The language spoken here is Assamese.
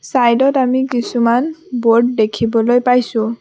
ছাইডত আমি কিছুমান ব'ৰ্ড দেখিবলৈ পাইছোঁ।